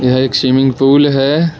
यह एक swimming pool है।